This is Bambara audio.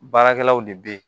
Baarakɛlaw de bɛ ye